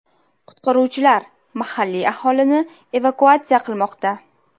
Qutqaruvchilar mahalliy aholini evakuatsiya qilmoqda.